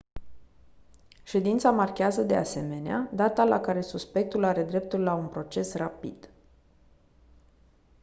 ședința marchează de asemenea data la care suspectul are dreptul la un proces rapid